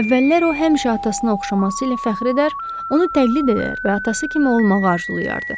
Əvvəllər o həmişə atasına oxşaması ilə fəxr edər, onu təqlid edər və atası kimi olmağı arzulayardı.